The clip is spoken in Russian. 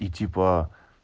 и типа